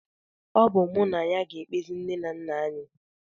Ọ bụ mụ na ya ga-ekpezi nne na nna anyị